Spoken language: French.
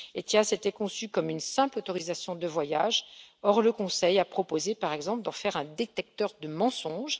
ETIAS était conçu comme une simple autorisation de voyage, or le Conseil a proposé, par exemple, d'en faire un détecteur de mensonges.